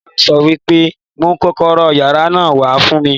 Ìyá mi sọ pé mú kọ́kọ́rọ́ yàrá náà wá fún mi!